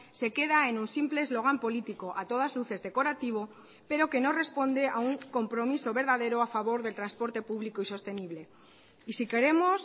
se queda en un simple eslogan político a todas luces decorativo pero que no responde a un compromiso verdadero a favor del transporte público y sostenible y si queremos